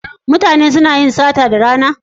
Mutane suna yin sata da rana?